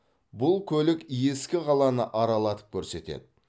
бұл көлік ескі қаланы аралатып көрсетеді